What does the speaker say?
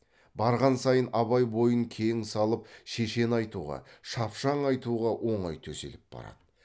барған сайын абай бойын кең салып шешен айтуға шапшаң айтуға оңай төселіп барады